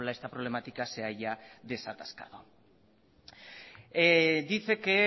esta problemática se haya desatascado dice que